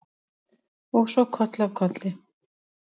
Og svo koll af kolli.